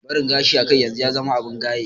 Barin gashi a kai yanzu ya zama abin gaye